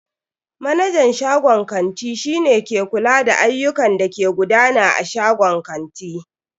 Manajan shagon kanti shi ne ke kula da ayyukan da ke gudana a shagon kanti.